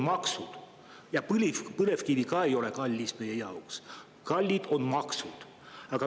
Ka põlevkivi ei ole meie jaoks kallis, kalliks teevad selle maksud.